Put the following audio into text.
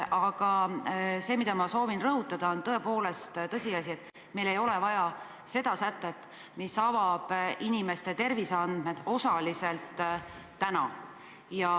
Aga see, mida ma soovin rõhutada, on tõepoolest tõsiasi, et meil ei ole täna vaja seda sätet, mis osaliselt avab inimeste terviseandmed.